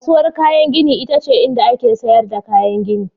Kasuwar kayan gini ita ce inda ake sayar da kayan gini.